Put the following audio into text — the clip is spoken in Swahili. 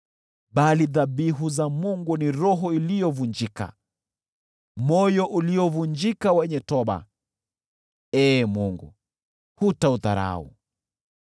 Bali dhabihu za Mungu ni roho iliyovunjika, moyo uliovunjika wenye toba, Ee Mungu, hutaudharau.